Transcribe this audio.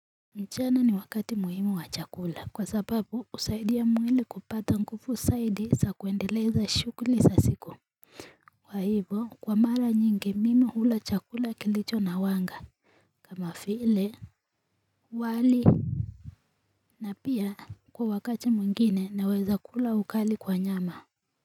Mchana ni wakati muhimu wa chakula kwa sababu husaidia mwili kupata ngufu saidi sa kuendeleza shukuli sa siku kwa hivo kwa mara nyingi mimi hula chakula kilicho na wanga kama file wali na pia kwa wakati mwengine naweza kula ukali kwa nyama.